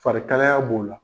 Farikalaya b'o la